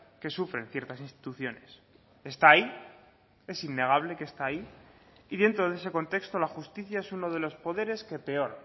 que sufren ciertas instituciones está ahí es innegable que está ahí y dentro de ese contexto la justicia es uno de los poderes que peor